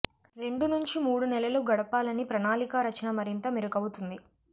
రెండు నుంచి మూడు నెలలు గడపాలని ప్రణాళికా రచన మరింత మెరుగవుతుంది